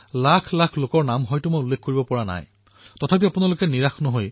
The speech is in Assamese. এয়াও এক প্ৰয়াস কৰা হয় যে যিবোৰ পত্ৰ মন কী বাতত অন্তৰ্ভুক্ত কৰা নহয় সেই পত্ৰসমূহো ধ্যান দি পঢ়া হয়